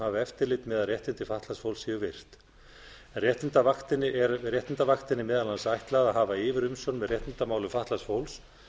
hafi eftirlit með að réttindi fatlaðs fólks séu virt réttindavaktinni er meðal annars ætlað að hafa yfirumsjón með réttindamálum fatlaðs fólks